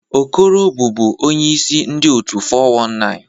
Okoro bụbu onye ise ndu otu 419